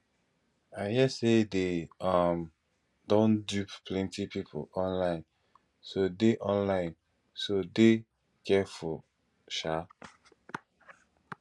i hear say dey um don dupe plenty people online so dey online so dey careful um